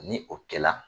Ni o kɛla